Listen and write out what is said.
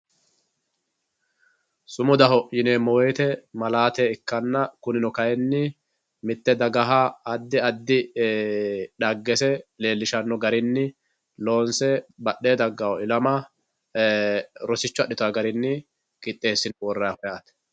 Sumudaho yineemo woyite malaate ikana kunino kayini mitte dagaha adi adi dhagese leelishano garini loonse badhee dagawo ilama rosicho adhitawo garini qixeesine worayiho yaate